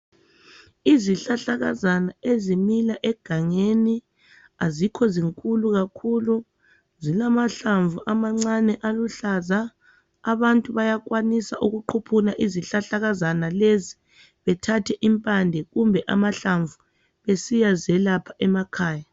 Izihlahlakazana ezimila egangeni azikho zinkulu kakhulu zilamahlamvu amancane aluhlaza abantu bayakwanisa ukuquphuna izihlahlakazana lezi bethathe impande kumbe amahlamvu besiya zelapha emakhaya.